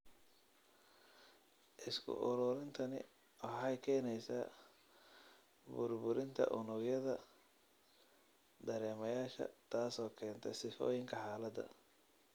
Isku-ururintani waxay keenaysaa burburinta unugyada dareemayaasha, taasoo keenta sifooyinka xaaladda.